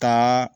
Ka